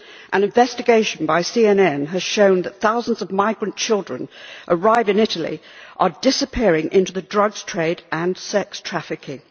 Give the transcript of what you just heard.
An investigation by CNN has shown that thousands of migrant children that arrive in Italy are disappearing into the drugs trade and sex trafficking.